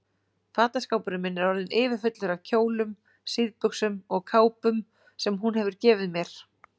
Fataskápurinn minn er orðinn yfirfullur af kjólum, síðbuxum og kápum sem hún hefur gefið mér.